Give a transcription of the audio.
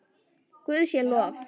Guði sé lof.